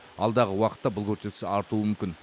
алдағы уақытта бұл көрсеткіш артуы мүмкін